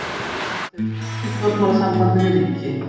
Ísland hefur slitið stjórnmálasambandi við ríki.